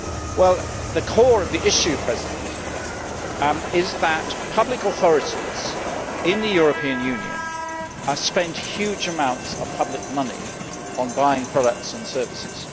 Well, the core of the issue is that public authorities in the European Union spend huge amounts of public money on buying products and services.